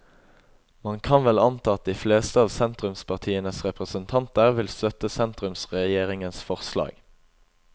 Man kan vel anta at de fleste av sentrumspartienes representanter vil støtte sentrumsregjeringens forslag.